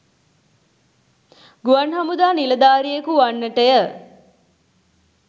ගුවන් හමුදා නිලධාරියකු වන්නටය.